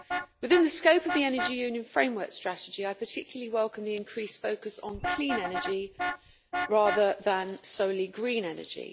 Within the scope of the Energy Union Framework Strategy, I particularly welcome the increased focus on clean energy, rather than solely green energy.